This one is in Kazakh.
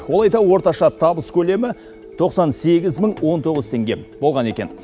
ол айда орташа табыс көлемі тоқсан сегіз мың он тоғыз теңге болған екен